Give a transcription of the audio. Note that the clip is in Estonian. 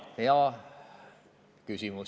Hea küsimus!